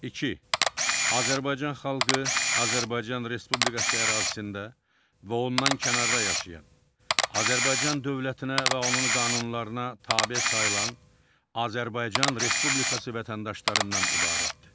İki, Azərbaycan xalqı Azərbaycan Respublikası ərazisində və ondan kənarda yaşayan, Azərbaycan dövlətinə və onun qanunlarına tabe sayılan Azərbaycan Respublikası vətəndaşlarından ibarətdir.